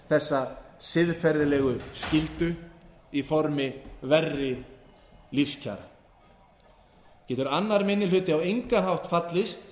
þessa siðferðilegu skyldu í formi verri lífskjara getur annar minni hluti á engan hátt fallist